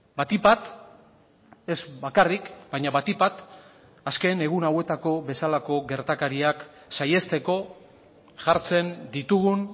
batik bat ez bakarrik baina batik bat azken egun hauetako bezalako gertakariak saihesteko jartzen ditugun